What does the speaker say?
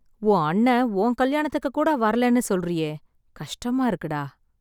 உன் அண்ணே, உன் கல்யாணத்துக்குக்கூட வரலன்னு சொல்றியே... கஷ்டமா இருக்குடா...